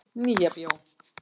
Nýja bíó